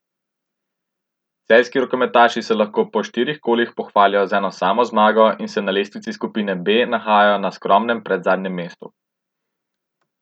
Celjski rokometaši se lahko po štirih kolih pohvalijo z eno samo zmago in se na lestvici skupine B nahajajo na skromnem predzadnjem mestu.